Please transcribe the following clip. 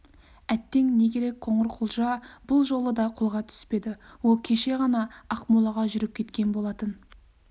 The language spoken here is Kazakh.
әттең не керек қоңырқұлжа бұл жолы да қолға түспеді ол кеше ғана ақмолаға жүріп кеткен болатын